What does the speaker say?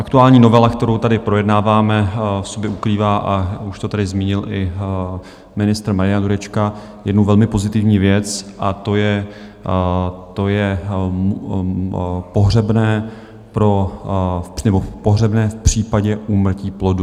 Aktuální novela, kterou tady projednáváme, v sobě ukrývá, a už to tady zmínil i ministr Marian Jurečka, jednu velmi pozitivní věc, a to je pohřebné v případě úmrtí plodu.